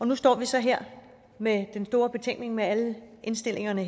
nu står vi så her med den store betænkning med alle indstillingerne